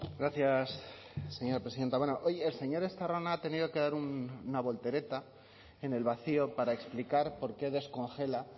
gracias señora presidenta bueno hoy el señor estarrona ha tenido que dar una voltereta en el vacío para explicar por qué descongela